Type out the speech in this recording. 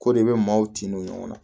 Ko de bɛ maaw tin don ɲɔgɔn na